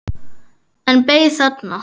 En beið þarna.